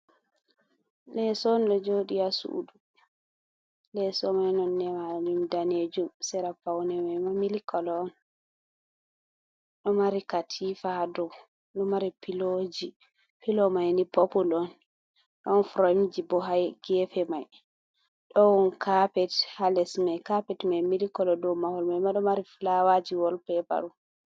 Leeso on ɗo jooɗi haa suudu, leeso may nonnde mum daneejum, sera pawne may ma milik kolo, ɗo mari katiifa haa dow, ɗo mari filo may ni poopul on, ɗon koromje bo haa geefe maiy. Ɗon kaapet haa les may , kaapet maiy milik kolo, ɗo mahol may ma ɗo mari fulaawaaji wol peepa on.